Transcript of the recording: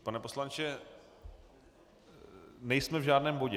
Pane poslanče, nejsme v žádném bodě.